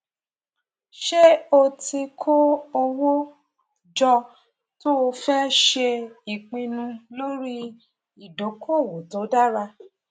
ṣé o ti ti kó owó jọ tó fẹ ṣe ìpinnu lórí ìdókòwò tó dára